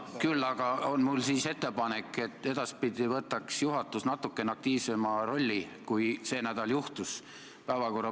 Küll aga on mul siis ettepanek, et edaspidi võtaks juhatus päevakorra planeerimisel natukene aktiivsema rolli, kui sel nädal juhtus.